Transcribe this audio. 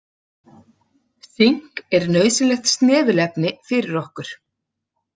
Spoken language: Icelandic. Sink er nauðsynlegt snefilefni fyrir okkur.